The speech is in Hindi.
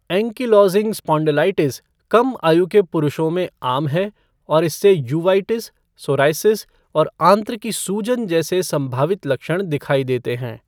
एंकिलोज़िंग स्पॉन्डिलाइटिस कम आयु के पुरुषों में आम है और इससे यूवाइटिस, सोरायसिस और आंत्र की सूजन जैसे संभावित लक्षण दिखाई देते हैं।